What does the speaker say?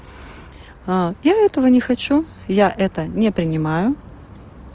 я этого не хочу я это не принимаю